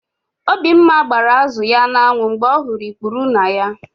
Obimma gbara azụ ya n'anwụ mgbe ọ hụrụ ikpuru na ya.